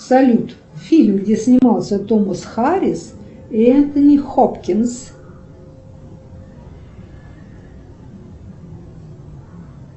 салют фильм где снимался томас харрис и энтони хопкинс